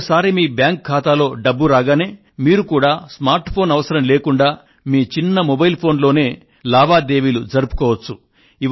ఒకసారి మీ బ్యాంకు ఖాతాలోకి డబ్బు రాగానే మీరు కూడా స్మార్ట్ ఫోన్ అవసరం లేకుండా మీ చిన్న మొబైల్ ఫోన్ లోనే లావాదేవీలు జరుపుకోవచ్చు